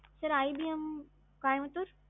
sir IBM Coimbatore.